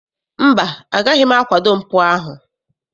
Mba, agaghị m akwado mpụ ahụ.